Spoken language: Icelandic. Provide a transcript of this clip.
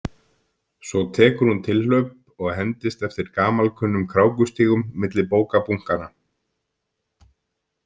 Svo tekur hún tilhlaup og hendist eftir gamalkunnum krákustígum milli bókabunkanna.